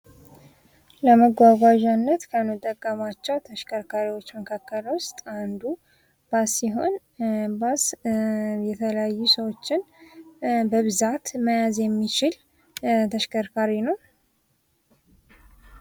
ለመጓጓዣነት ከምንጠቀምባቸው ተሽከርካሪዎች መካከል ውስጥ አንዱ ባስ ሲሆን ባስ የተለያዩ ሰዎችን በብዛት መያዝ የሚችል ተሽከርካሪ ነው።